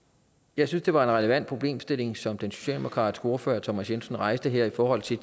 jeg synes det var en relevant problemstilling som den socialdemokratiske ordfører herre thomas jensen rejste her i forhold til